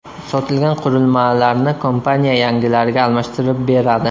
Sotilgan qurilmalarni kompaniya yangilariga almashtirib beradi.